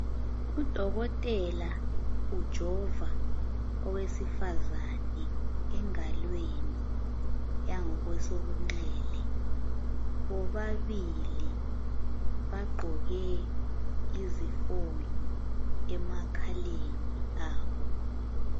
Udokotela ujova owesifazani engalweni yangakwesokunxele. Bobabili bagqoke izifonyo emakhaleni abo.